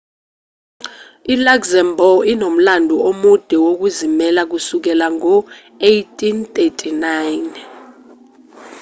i-luxembourg inomlando omude wokuzimela kusukela ngo-1839